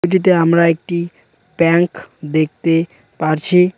টিতে আমরা একটি ব্যাংক দেখতে পারছি।